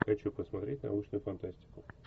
хочу посмотреть научную фантастику